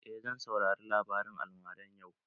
Eh zan saurari labarin almaran yau.